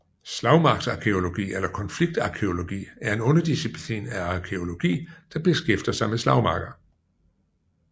Slagmarksarkæologi eller konfliktarkæologi er en underdisciplin af arkæologi der beskæftiger sig med slagmarker